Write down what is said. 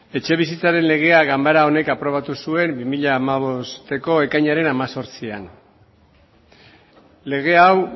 etxebizitzaren legea ganbara honek aprobatu zuen bi mila hamabosteko ekainaren hemezortzian lege hau